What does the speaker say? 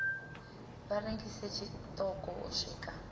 vha rengise tshiṱoko u swika